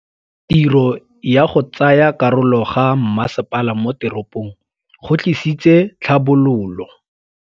Tirô ya go tsaya karolo ga masepala mo teropong go tlisitse tlhabololô.